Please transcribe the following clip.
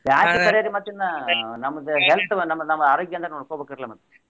ಬ್ಯಾಸಗಿ ಕರೇರಿ ಮತ್ತ್ ಇನ್ನ ನಮ್ದ health ನಮ್ದ ಆರೋಗ್ಯನರಾ ನೋಡೋಕೋಬೇಕಲ್ರ ಮತ್ತ್.